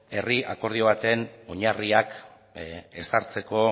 herri akordio baten oinarriak ezartzeko